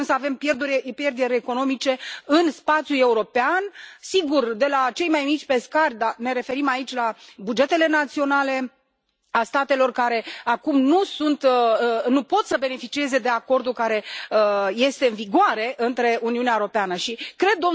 Nu putem să avem pierderi economice în spațiul european, sigur, de la cei mai mici pescari ne referim aici la bugetele naționale ale statelor care acum nu pot să beneficieze de acordul care este în vigoare între Uniunea Europeană Și cred,